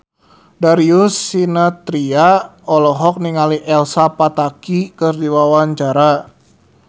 Darius Sinathrya olohok ningali Elsa Pataky keur diwawancara